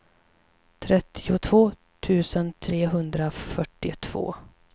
trettiotvå tusen trehundrafyrtiotvå